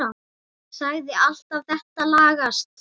Sagðir alltaf þetta lagast.